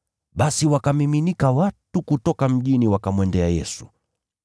Basi wakamiminika watu kutoka mjini wakamwendea Yesu.